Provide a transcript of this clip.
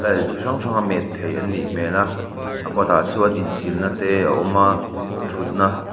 style chi hrang hranga met thei an nih hmel a a kawtah chuan insilna te a awm a thutna --